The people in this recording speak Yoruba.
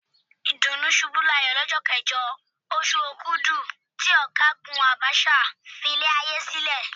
Ìdùnnúṣubúláyọ̀ lọ́jọ́ kẹjọ, oṣù Òkudù tí Ọ̀gágùn Abacha filé ayé sílẹ̀.